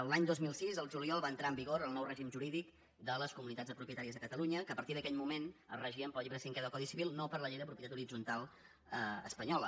l’any dos mil sis el juliol va entrar en vigor el nou règim jurídic de les comunitats de propietaris de catalunya que a partir d’aquell moment es regien pel llibre cinquè del codi civil no per la llei de propietat horitzontal espanyola